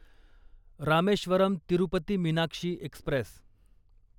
Rameswaram Tirupati Meenakshi Express